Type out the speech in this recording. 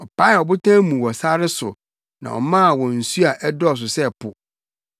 Ɔpaee ɔbotan mu wɔ sare so, na ɔmaa wɔn nsu a ɛdɔɔso sɛ po;